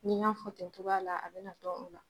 N'i y'a fɔ tencogoya la a bɛ na dɔn o la.